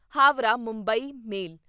Howrah Mumbai ਮੇਲ